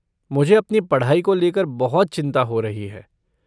मुझे अपनी पढ़ाई को लेकर बहुत चिंता हो रही है।